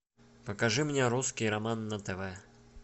покажи мне русский роман на тв